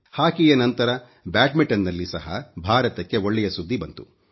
ಹಾಕಿಯ ನಂತರ ಬ್ಯಾಡ್ಮಿಂಟನ್ ನಲ್ಲಿ ಸಹ ಭಾರತಕ್ಕೆ ಒಳ್ಳೆಯ ಸುದ್ದಿ ಬಂತು